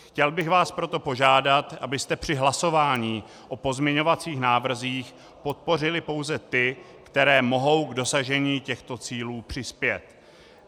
Chtěl bych vás proto požádat, abyste při hlasování o pozměňovacích návrzích podpořili pouze ty, které mohou k dosažení těchto cílů přispět.